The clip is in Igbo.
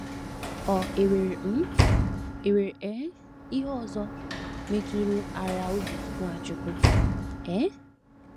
Ọ̀ e nwere um e nwere um ihe ọzọ metụrụara obi Nwachukwu? um